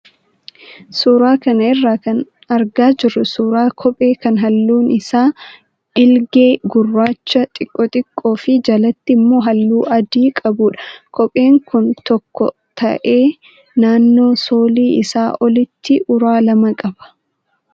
Suuraa kana irraa kan argaa jirru suuraa kophee kan halluun isaa dhiilgee, gurraacha xiqqoo xiqqoo fi jalatti immoo halluu adii qabudha. Kopheen kun tokko ta'ee, naannoo soolii isaa olitti uraa lama qaba.